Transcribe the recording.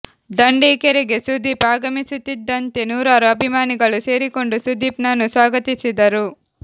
ದಂಡಿಕೆರೆಗೆ ಸುದೀಪ್ ಆಗಮಿಮಿಸುತ್ತಿದ್ದಂತೆ ನೂರಾರು ಅಭಿಮಾನಿಗಳು ಸೇರಿಕೊಂಡು ಸುದೀಪ್ ನನ್ನು ಸ್ವಾಗತಿಸಿದರು